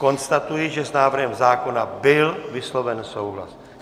Konstatuji, že s návrhem zákona byl vysloven souhlas.